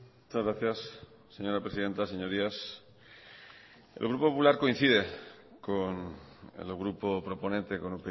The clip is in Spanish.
muchas gracias señora presidenta señorías el grupo popular coincide con el grupo proponente con